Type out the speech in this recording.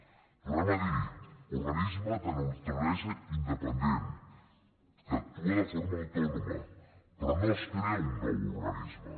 ho tornem a dir organisme de naturalesa independent que actua de forma autònoma però no es crea un nou organisme